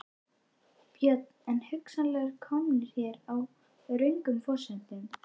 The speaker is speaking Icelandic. Björn: En hugsanlega komnir hér á röngum forsendum?